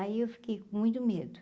Aí eu fiquei com muito medo.